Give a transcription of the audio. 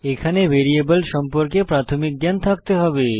এখানে ভ্যারিয়েবল সম্পর্কে প্রাথমিক জ্ঞান থাকতে হবে